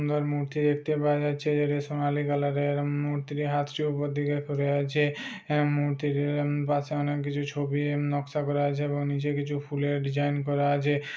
সুন্দর মূর্তি দেখতে পাওয়া যাচ্ছে এটি সোনালি কালার এর ম-মূর্তির হাতটি উপরের দিকে করে আছে। আ মূর্তিটির উম পাশে অনেক কিছু ছবি উম নক্সা করা আছে এবং নিচে ফুলের ডিজাইন করা আছে।